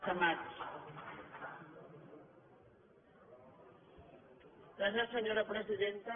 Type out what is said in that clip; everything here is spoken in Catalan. gràcies senyora presidenta